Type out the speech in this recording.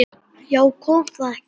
Já, kom það ekki!